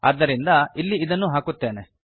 ಆದ್ದರಿಂದ ಇಲ್ಲಿ ಇದನ್ನು ಹಾಕುತ್ತೇನೆ